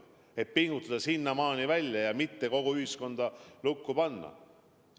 Me püüame pingutada sinnamaani välja ja mitte kogu ühiskonda lukku panna.